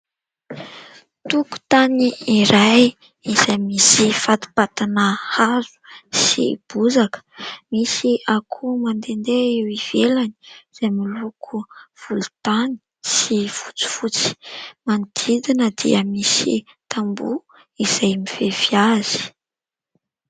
Tokontany iray izay misy fatipatina hazo sy bozaka, misy akoho mandendeha eo ivelany izay miloko volontany sy fotsifotsy ; manodidina dia misy tamboho izay mifefy azy.